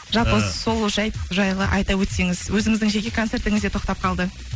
жалпы сол жайлы айта өтсеңіз өзіңіздің жеке концертіңіз де тоқтап қалды